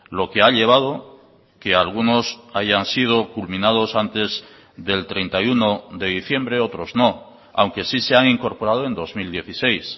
lo que ha llevado que algunos hayan sido culminados antes del treinta y uno de diciembre otros no aunque sí se han incorporado en dos mil dieciséis